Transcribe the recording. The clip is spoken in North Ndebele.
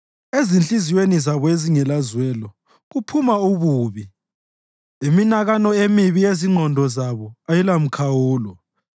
Ezinhliziyweni zabo ezingelazwelo kuphuma ububi; iminakano emibi yezingqondo zabo ayilamikhawulo.